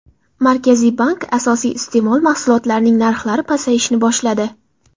Markaziy bank: Asosiy iste’mol mahsulotlarining narxlari pasayishni boshladi.